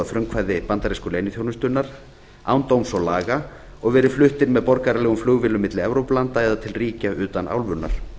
frumkvæði bandarísku leyniþjónustunnar án dóms og laga og verið fluttir með borgaralegum flugvélum milli landa í evrópu eða til ríkja utan álfunnar